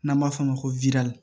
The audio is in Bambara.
N'an b'a f'o ma ko widali